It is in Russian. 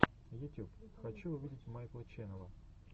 ютюб хочу увидеть майкла ченнела